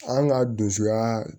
An ka dusuyaa